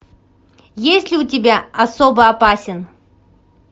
есть ли у тебя особо опасен